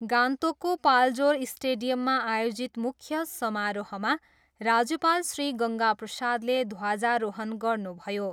गान्तोकको पाल्जोर स्टेडियममा आयोजित मुख्य समारोहमा राज्यपाल श्री गङ्गा प्रसादले ध्वजारोहण गर्नुभयो।